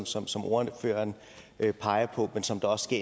som som ordføreren peger på men som også